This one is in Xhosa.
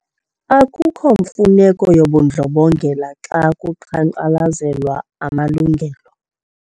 Akukho mfuneko yobundlobongela xa kuqhankqalazelwa amalungelo.